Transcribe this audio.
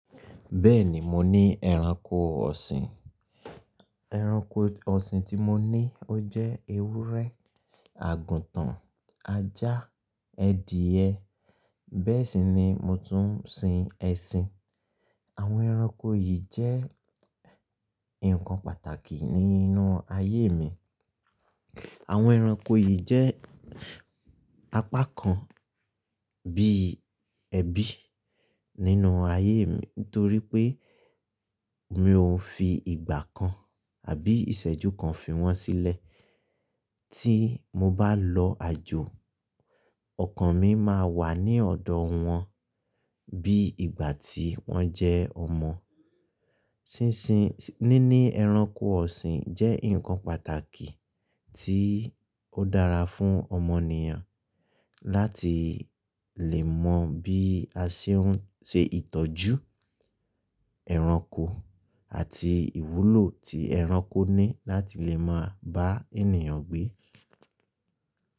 Bẹ́ẹ̀ni, mo ní ẹranko ọ̀sìn. Ẹranko ọ̀sìn tí mo ní ó jẹ́ ewúrẹ́, àgùntàn, ajá, ẹdìyẹ. Bẹ́ẹ̀ sì ni mo tún ń sin ẹṣin. Àwọn ẹranko yìí jẹ́ nǹkan pàtàkì nínú ayé mi. Àwọn ẹranko yìí jẹ́ apá kan bí ẹbí nínú ayé mi nítorí pé mi ò fi ìgbà kan àbí ìṣẹ́jú kan fi wọ́n sílẹ̀. Tí mo bá lọ àjò, ọkan mi máa wà ní ọ̀dọ̀ wọn bí ìgbà tí wọ́n jẹ́ ọmọ. Sínsin-- níní ẹranko ọ̀sìn jẹ́ nǹkan pàtàkì tí ó dára fún ọmọnìyàn láti lè mọ bí a ṣe ń ṣe ìtọ́jú ẹranko àti ìwúlò tí ẹranko ní láti lè mọ bá ènìyàn gbé.